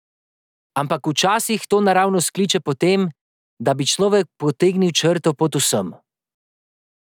Ampak včasih to naravnost kliče po tem, da bi človek potegnil črto pod vsem.